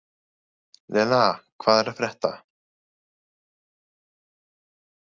Lena, hvað er að frétta?